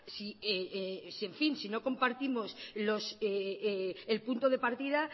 si no compartimos el punto de partida